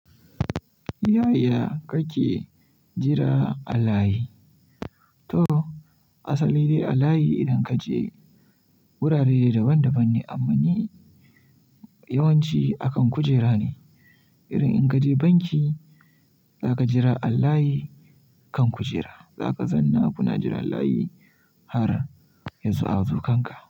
Yaya kake jira allayi? To asali ne a layi idan ka je wurare daban-daban ne amma ne yawanci akan kujera ne. Irin in ka je banki za ka jira a layi kan kujera, za ka zanna kuna jira layi har yazo hazukan ka.